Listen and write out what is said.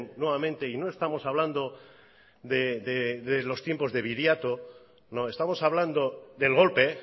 nuevamente y no estamos hablando de los tiempos de viriato no estamos hablando del golpe